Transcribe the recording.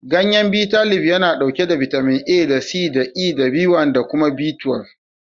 Gayyen Bitalib yana ɗauke da bitamin A da C da E da B1 da kuma B12.